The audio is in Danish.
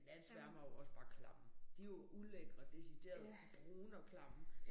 Men natsværmere er jo også bare klamme. De jo ulækre deciderede brune og klamme